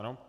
Ano.